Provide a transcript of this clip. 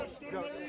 Hücum.